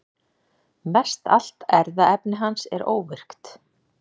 Mestallt erfðaefni hans er óvirkt.